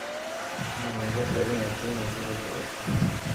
Lakamayabo in Otieno kuriga oo kutakto?